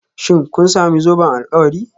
Shin kun sami zoben alkawari?